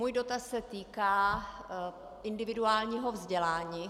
Můj dotaz se týká individuálního vzdělání.